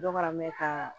Dɔ fana bɛ ka